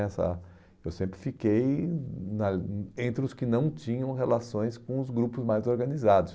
nessa, eu sempre fiquei na entre os que não tinham relações com os grupos mais organizados.